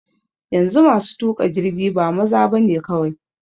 Yanzu masu tuƙa jirgi ba maza bane kawai.